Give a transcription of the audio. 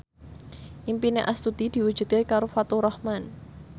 impine Astuti diwujudke karo Faturrahman